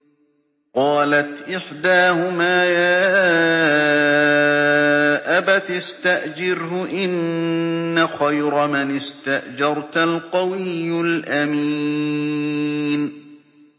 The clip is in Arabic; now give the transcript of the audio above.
قَالَتْ إِحْدَاهُمَا يَا أَبَتِ اسْتَأْجِرْهُ ۖ إِنَّ خَيْرَ مَنِ اسْتَأْجَرْتَ الْقَوِيُّ الْأَمِينُ